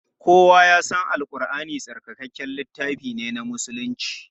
Kowa ya san Al Ƙurʼani tsarkakakken littafi ne na musulunci.